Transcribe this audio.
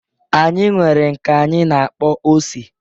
Anyị nwere nke anyi na-akpọ ose